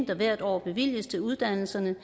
der hvert år bevilges til uddannelserne